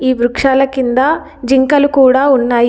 ఈ వృక్షాల కింద జింకలు కూడా ఉన్నాయి.